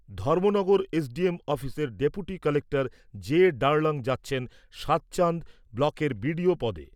Dharmanagar SDM অফিসের deputy collector J Darlong যাচ্ছেন সাতচান্দ ব্লকের বিডিও পদে।